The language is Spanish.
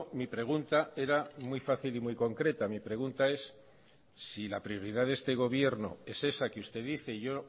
mi pregunta era muy fácil y muy concreta mi pregunta es si la prioridad de este gobierno es esa que usted dice yo